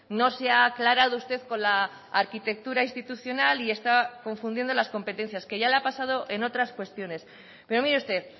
no se ha aclarado usted con la arquitectura institucional y está confundiendo las competencias que ya le ha pasado en otras cuestiones pero mire usted